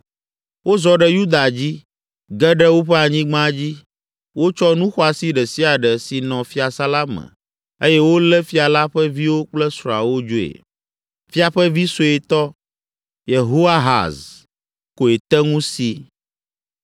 Wozɔ ɖe Yuda dzi, ge ɖe woƒe anyigba dzi; wotsɔ nu xɔasi ɖe sia ɖe si nɔ fiasã la me eye wolé fia la ƒe viwo kple srɔ̃awo dzoe. Fia ƒe vi suetɔ, Yehoahaz, koe te ŋu si.